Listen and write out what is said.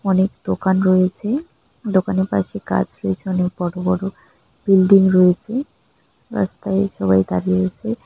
অনেক দোকান রয়েছে দোকানে কয়েকটি কাজ রয়েছে অনেক বড় বড় বিল্ডিং রয়েছে রাস্তায় সবাই দাঁড়িয়ে আছে ।